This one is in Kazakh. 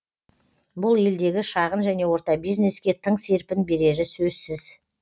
бұл елдегі шағын және орта бизнеске тың серпін берері сөзсіз